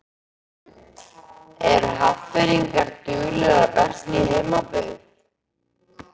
Eru Hafnfirðingar duglegir að versla í heimabyggð?